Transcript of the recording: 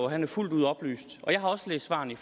at han er fuldt ud oplyst jeg har også læst svarene i